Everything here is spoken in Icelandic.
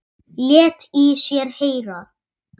Lét í sér heyra.